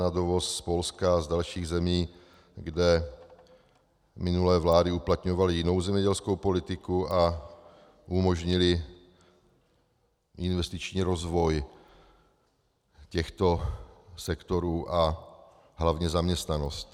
na dovoz z Polska a z dalších zemí, kde minulé vlády uplatňovaly jinou zemědělskou politiku a umožnily investiční rozvoj těchto sektorů a hlavně zaměstnanost.